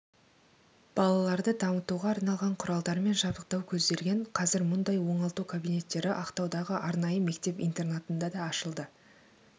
балаларды дамытуға арналған құралдармен жабдықтау көзделген қазір мұндай оңалту кабинеттері ақтаудағы арнайы мектеп-интернатында да ашылды